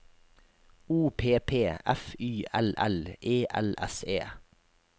O P P F Y L L E L S E